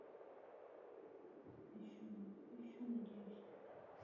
еще надеюсь